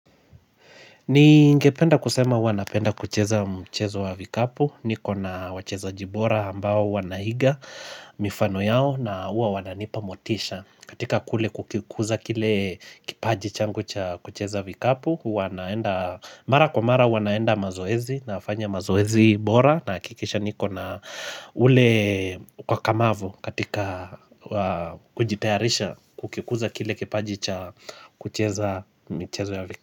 Ningependa kusema huwa napenda kucheza mchezo wa vikapu, niko na wachezaji bora ambao huwa naiga mifano yao na huwa wananipa motisha katika kule kukikuza kile kipaji changu cha kucheza vikapu huwa naenda mara kwa mara huwa naenda mazoezi, nafanya mazoezi bora Nahakikisha niko na ule ukakamavu katika kujitayarisha kukikuza kile kipaji cha kucheza michezo ya vi.